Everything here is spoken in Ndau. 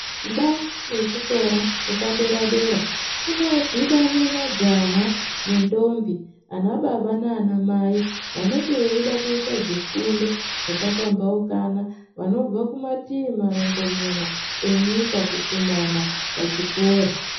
Ndau yechikora chepadera dera kunodhibane majaha nentombi ana baba naana mai vanenge veida kuita zvifundo zvakapambaukana vanobva kumativi marongomuna enyika kukumana pachikora.